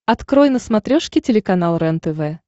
открой на смотрешке телеканал рентв